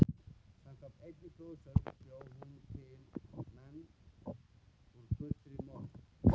Samkvæmt einni goðsögu bjó hún til menn úr gulri mold.